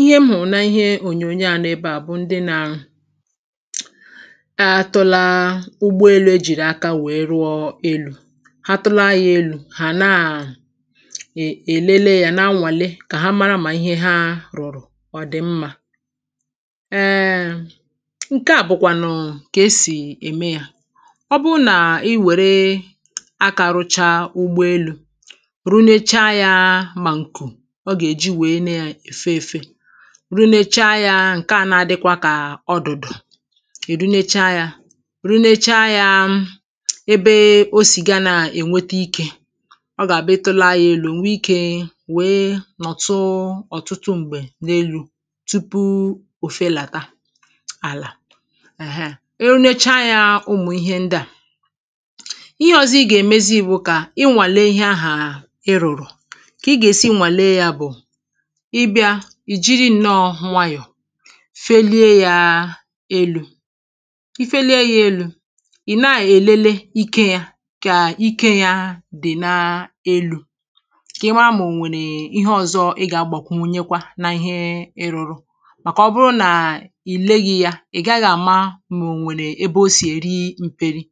ihe m hụ̀rụ̀ n’ihe ònyònyo ā nọọ̄ ebe à bụ̀ ndị nā atụla ụgbọ elū ejìrì aka nwèe rụọ elū ha tụla yā ēlù hà naà è èlele yā na-anwàli kà ha lele mà ihe ha rụ̀rụ̀ ọ̀ dị̀ mmā eeè ǹke à bụ̀kwànụ̀ kà esì ème yā ọ bụrụ nà i nwère akā rụcha ụgbọ elū runecha yā mà ǹkù ọ gà-èji nwèe na-èfe ēfē runecha yā ǹkè ahụ̄ na-adịkwa kà ọdụ̀dụ̀ ì runecha yā runecha yā ebe o sì ga nā-ènwete ikē ọ gà-àbụ ị tụla yā ēlù ò nwe ikē nwèe nọ̀tụ ọ̀tụtụ m̀gbè n’elū tupu ò felàta àlà ẹ̀hẹǹ erunecha yā ụmụ̀ ihe ndị à ihe ọ̄zọ̄ ị gà-èmezi bụ̀ kà ị nwàlie ihe ahà ị rụ̀rụ̀ kà ị gà-èsi nwàlie yā bụ̀ ị bịa ì jiri ǹnọọ̄ nwayọ̀ felie yā ēlù i felie yā ēlù, ị̀ na-èlele ike yā kà ike yā dị̀ n’elū kà ị mara mà ò nwèrè ihe ọ̄zọ̄ ị gà-agbàkwu nwunyekwa na ihe ị rụ̄rụ̄ màkà ọ bụrụ nà ì leghī yā ị̀ gaghị̄ àma mà ò nwèrè ebe o sì èri mpērī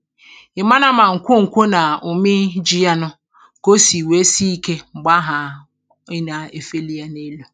ị̀ mara mà ǹkwoǹkwo nà òmeīhī ji ya nụ̄ kà o sì nwèe si ikē m̀gbè ahà ị nà-èfeli yā n’elū